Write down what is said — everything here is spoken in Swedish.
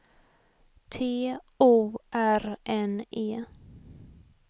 T O R N E